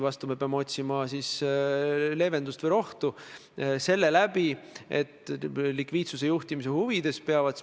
Ei, no sellega olen ma igal juhul päri, et Eesti on taastanud oma iseseisvuse õigusliku riigi printsiipe silmas pidades.